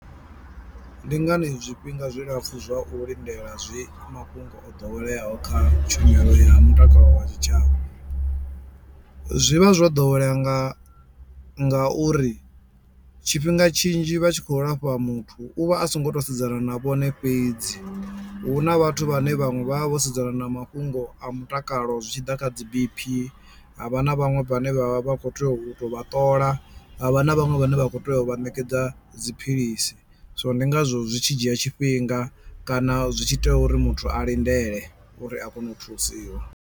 Ndi ngani zwifhinga zwilapfhu zwa u lindela zwi mafhungo o ḓoweleaho kha tshumelo ya mutakalo wa tshitshavha? Zwi vha zwo ḓowelea nga nga uri tshifhinga tshinzhi vha tshi khou lafha muthu u vha a songo to sedzana na vhone fhedzi hu na vhathu vhane vhaṅwe vha vha vho sedzana na mafhungo a mutakalo zwitshiḓa kha dzi BP ha vha na vhaṅwe vhane vha vha vha kho tea u tou vha ṱola ha vha na vhaṅwe vhane vha kho tea u vha ṋekedza dziphilisi so ndi ngazwo zwi tshi dzhia tshifhinga kana zwi tshi tea uri muthu a lindele uri a kone u thusiwa.